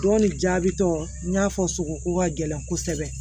Don ni jaabi tɔ n y'a fɔ sogo ko ka gɛlɛn kosɛbɛ